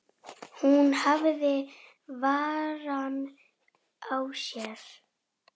Hvað með mig?